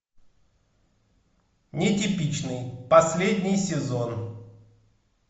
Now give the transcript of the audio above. нетипичный последний сезон